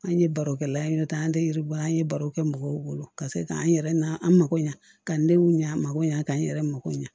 An ye baro kɛla ye nɔ ta an tɛ yiribɔ an ye baro kɛ mɔgɔw bolo ka se k'an yɛrɛ an mako ɲɛ ka new ɲɛ a ma ko ɲa ka n yɛrɛ mako ɲɛ